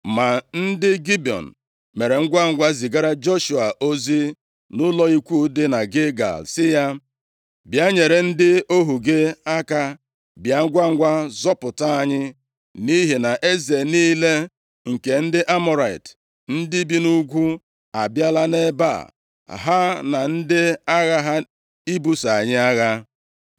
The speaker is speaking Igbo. Ma ndị Gibiọn mere ngwangwa zigara Joshua ozi nʼụlọ ikwu dị na Gilgal sị ya, “Bịa nyere ndị ohu gị aka. Bịa ngwangwa zọpụta anyị, nʼihi na eze niile nke ndị Amọrait, ndị bi nʼugwu, abịala nʼebe a, ha na ndị agha ha ibuso anyị agha.” + 10:6 Ọgbụgba ndụ ahụ dị nʼetiti ụmụ Izrel na ndị Gibiọn, pụtara na Joshua ga na-enyere ha aka, nʼoge ọbụla e nwere ndị bịara ibuso ha agha.